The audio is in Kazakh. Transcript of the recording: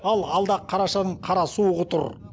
ал алда қарашаның қара суғы тұр